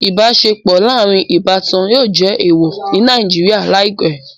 Ibaṣepọ laarin ibatan yóò jẹ eewọ ni Naijiria laipẹ